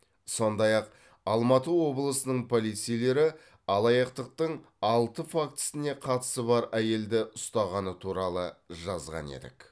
сондай ақ алматы облысының полицейлері алаяқтықтың алты фактісіне қатысы бар әйелді ұстағаны туралы жазған едік